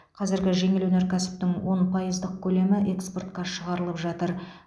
қазір жеңіл өнеркәсіптің он пайыздық көлемі экспортқа шығарылып жатыр